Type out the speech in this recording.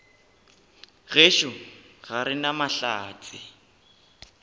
gešo ga re na mahlatse